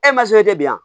E ma se e tɛ biyan